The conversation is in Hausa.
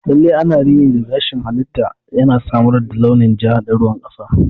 Lalle ana rini na gashin halitta, yana samar da launin ja da ruwan kasa.